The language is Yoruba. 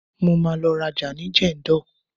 mo ma lo raja ni jendol